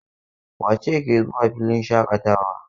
Wace ce ke zuwa filin shaƙatawa?